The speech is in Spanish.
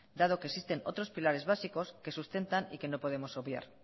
dado que existen otros pilares básicos que sustentan y que no podemos obviar